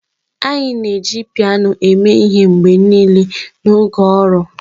anyị na-eji piano eme ihe mgbe niile n'oge ọrụ.